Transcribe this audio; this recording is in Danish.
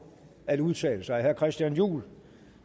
at udtale sig herre christian juhl